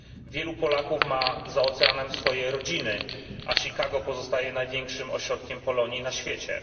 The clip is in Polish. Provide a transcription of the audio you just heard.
Wielu Polaków ma za oceanem swoje rodziny, a Chicago pozostaje największym ośrodkiem Polonii na świecie.